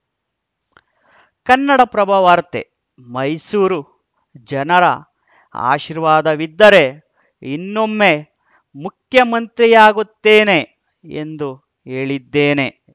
ಕನ್ನಡಪ್ರಭ ವಾರ್ತೆ ಮೈಸೂರು ಜನರ ಆಶೀರ್ವಾದವಿದ್ದರೆ ಇನ್ನೊಮ್ಮೆ ಮುಖ್ಯಮಂತ್ರಿಯಾಗುತ್ತೇನೆ ಎಂದು ಹೇಳಿದ್ದೇನೆ